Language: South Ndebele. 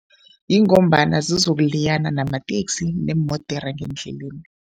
Ingombana zizokuliyana namateksi neemodere ngendleleni.